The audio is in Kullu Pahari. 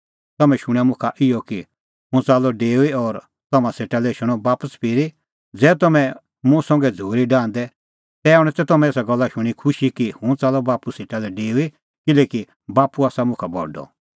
तम्हैं शूणअ मुखा इहअ कि हुंह च़ाल्लअ डेऊई और तम्हां सेटा लै एछणअ बापस फिरी ज़ै तम्हैं मुंह संघै झ़ूरी डाहंदै तै हणैं तै तम्हैं एसा गल्ला शूणीं खुशी कि हुंह च़ाल्लअ बाप्पू सेटा लै डेऊई किल्हैकि बाप्पू आसा मुखा बडअ